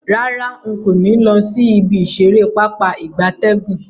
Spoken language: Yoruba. Rara, nko ni lo si ibi isere Pápá ìgbatẹ́gùn.